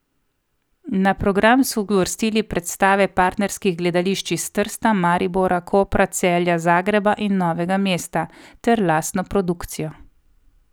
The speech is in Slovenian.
Na program so uvrstili predstave partnerskih gledališč iz Trsta, Maribora, Kopra, Celja, Zagreba in Novega mesta ter lastno produkcijo.